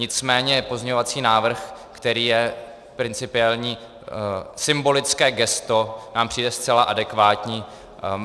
Nicméně pozměňovací návrh, který je principiální, symbolické gesto, nám přijde zcela adekvátní.